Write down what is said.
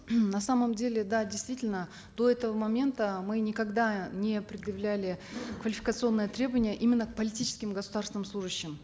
на самом деле да действительно до этого момента мы никогда не предъявляли квалификационные требования именно к политическим государственным служащим